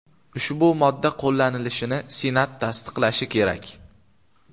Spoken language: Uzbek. Ushbu modda qo‘llanilishini senat tasdiqlashi kerak.